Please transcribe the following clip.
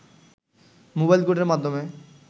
mobile কোর্টের মাধ্যমে